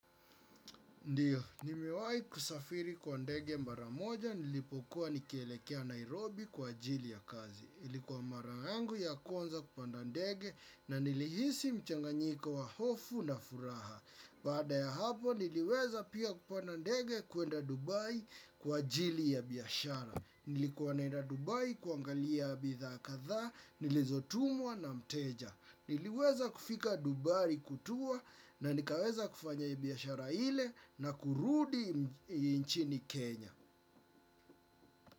Ndio nimewahi kusafiri kwa ndege mara moja nilipokuwa nikielekea Nairobi kwa ajili ya kazi. Ilikuwa mara yangu ya kwanza kupanda ndege na nilihisi mchanganyiko wa hofu na furaha. Baada ya hapo niliweza pia kupanda ndege kuenda Dubai kwa ajili ya biashara. Nilikuwa naenda Dubai kuangalia bithaa kadhaa, nilizotumwa na mteja. Niliweza kufika dubai kutua na nikaweza kufanya ibiashara ile na kurudi nchini Kenya.